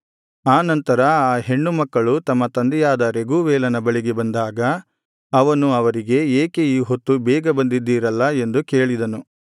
ಆ ನಂತರ ಆ ಹೆಣ್ಣುಮಕ್ಕಳು ತಮ್ಮ ತಂದೆಯಾದ ರೆಗೂವೇಲನ ಬಳಿಗೆ ಬಂದಾಗ ಅವನು ಅವರಿಗೆ ಏಕೆ ಈ ಹೊತ್ತು ಬೇಗ ಬಂದಿದ್ದಿರಲ್ಲ ಎಂದು ಕೇಳಿದನು